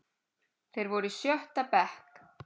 Þeir voru í sjötta bekk.